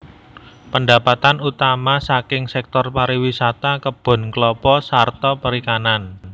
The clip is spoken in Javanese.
Pendapatan utama saking sektor pariwisata kebon klapa sarta perikanan